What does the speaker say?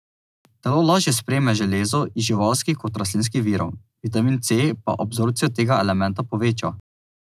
Telo lažje sprejme železo iz živalskih kot rastlinskih virov, vitamin C pa absorpcijo tega elementa poveča.